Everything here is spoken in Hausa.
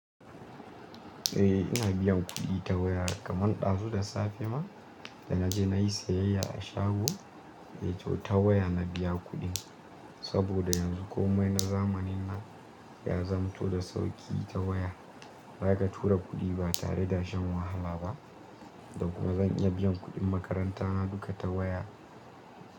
Eh ina biyan kuɗi ta waya kaman ɗazu da safe ma da naje nayi sayayya a shago, yace ta waya na biya kuɗin saboda yanzu komai na zamanin nan ya zamanto da sauƙi ta waya, zaka tura kuɗi ba tare da shan wahala ba, da kuma zan iya biyan kuɗin makaranta na duka ta waya.